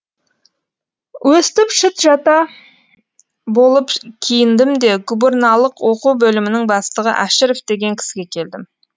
өстіп шыт жаңа болып киіндім де гүбірналық оқу бөлімінің бастығы әшіров деген кісіге келдім